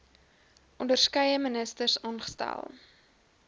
onderskeie ministers aangestel